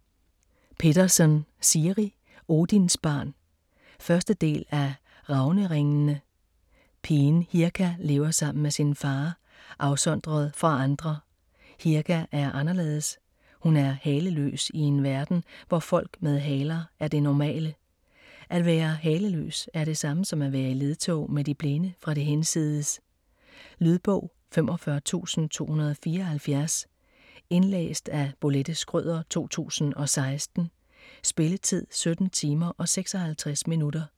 Pettersen, Siri: Odinsbarn 1. del af Ravneringene. Pigen Hirka lever sammen med sin far, afsondret fra andre. Hirka er anderledes, hun er haleløs i en verden hvor folk med haler er det normale. At være haleløs er det samme som at være i ledtog med de blinde fra det hinsides. Lydbog 45274 Indlæst af Bolette Schrøder, 2016. Spilletid: 17 timer, 56 minutter.